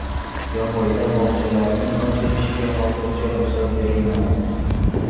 Jomboyda bog‘chalarning ochilishiga hozircha ruxsat berilmadi.